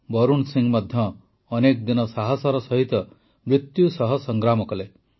ବରୁଣ ସିଂ ମଧ୍ୟ ଅନେକ ଦିନ ସାହସର ସହିତ ମୃତ୍ୟୁ ସହ ସଂଗ୍ରାମ କଲେ